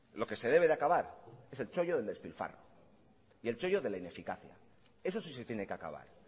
lo que se debe de acabar es el chollo del despilfarro y el chollo de la ineficacia eso sí se tiene que acabar